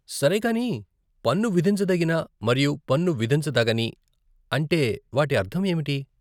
సరే, కానీ "పన్ను విధించదగిన" మరియు "పన్ను విధించదగని" అంటే వాటి అర్థం ఏమిటి?